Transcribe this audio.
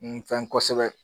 N fɛn kosɛbɛ